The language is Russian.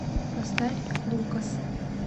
поставь лукас